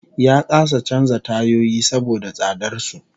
Ya kasa canza tayoyi saboda tsadar su